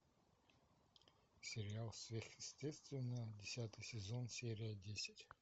сериал сверхъестественное десятый сезон серия десять